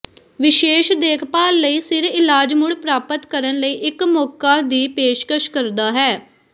ਵਿਸ਼ੇਸ਼ ਦੇਖਭਾਲ ਲਈ ਸਿਰ ਇਲਾਜ ਮੁੜ ਪ੍ਰਾਪਤ ਕਰਨ ਲਈ ਇੱਕ ਮੌਕਾ ਦੀ ਪੇਸ਼ਕਸ਼ ਕਰਦਾ ਹੈ